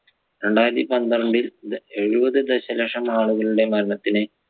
രണ്ടായിരത്തി പന്ത്രണ്ടിൽ എഴുപത് ദശലക്ഷം ആളുകളുടെ മരണത്തിന്